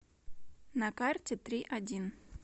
на карте три один